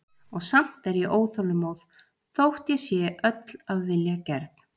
Og samt er ég óþolinmóð þótt ég sé öll af vilja gerð.